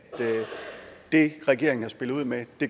det regeringen har spillet ud med